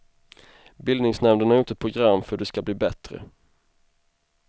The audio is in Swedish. Bildningsnämnden har gjort ett program för hur det ska bli bättre.